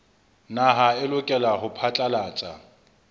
naha a lokela ho phatlalatsa